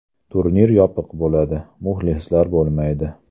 Turnir yopiq bo‘ladi, muxlislar bo‘lmaydi.